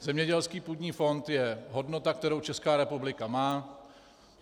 Zemědělský půdní fond je hodnota, kterou Česká republika má.